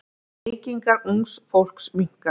Reykingar ungs fólks minnka.